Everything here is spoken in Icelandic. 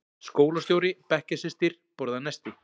Skólastjóri- bekkjarsystir- borða nesti